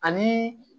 Ani